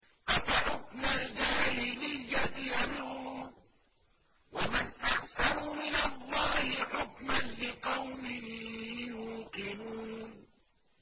أَفَحُكْمَ الْجَاهِلِيَّةِ يَبْغُونَ ۚ وَمَنْ أَحْسَنُ مِنَ اللَّهِ حُكْمًا لِّقَوْمٍ يُوقِنُونَ